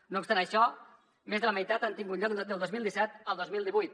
no obstant això més de la meitat han tingut lloc del dos mil disset al dos mil divuit